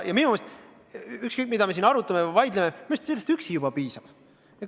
Ja ükskõik, mida me siin arutame või vaidleme, minu meelest sellest üksi juba piisab.